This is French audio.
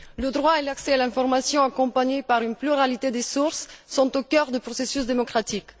Le droit et l'accès à l'information accompagnés d'une pluralité des sources sont au cœur du processus démocratique.